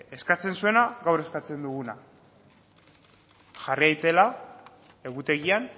eskatzen zuena gaur eskatzen duguna jarri daitela egutegian